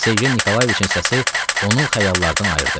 Sergey Nikolayeviçin səsi onu xəyallardan ayırdı.